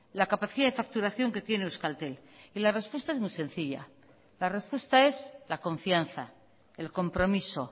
la capacidad de facturación que tiene euskaltel y la respuesta es muy sencilla la respuesta es la confianza el compromiso